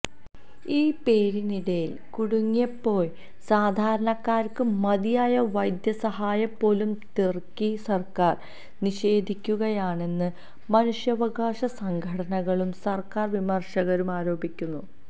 ഈ പോരിനിടയില് കുടുങ്ങിപ്പോയ സാധാരണക്കാര്ക്ക് മതിയായ വൈദ്യസഹായം പോലും തുര്ക്കി സര്ക്കാര് നിഷേധിക്കുകയാണെന്ന് മനുഷ്യാവകാശ സംഘടനകളും സര്ക്കാര് വിമര്ശകരും ആരോപിക്കുന്നു